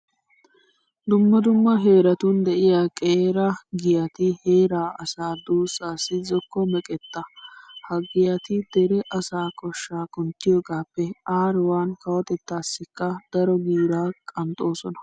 Dumma dumma heeratun de'iya qeera giyati heeraa asaa duussaassi zokko meqetta. Ha giyati dere asaa koshshaa kunttiyogaappe aaruwan kawotettaassikka daro giiraa qanxxoosona.